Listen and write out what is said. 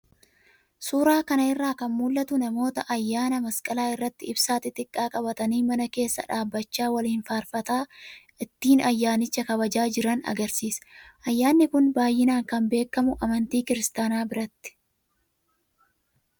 Suuraa kanarraa kan mul'atu kun namoota ayyaana masqalaa irratti ibsaa xixiqqaa qabatanii mana keessa dhaabbachaa waliin faarfataa ittiin ayyaanicha kabajaa jiran agarsiisa. Ayyaanni kun baay'inaan kan beekamu amantii kiristaanaa biratti.